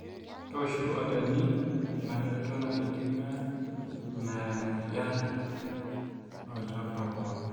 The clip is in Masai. tooshu olchani ina shoto natijinga ina mweyian moolchamba pooki